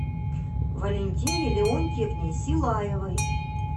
валентине леонтьевне силаевой